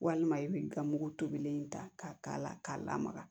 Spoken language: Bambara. Walima i b'i ka mugu tobilen da k'a k'a la k'a lamaga